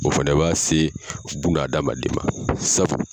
O fɛnɛ b'a se buna hadamaden ma sabu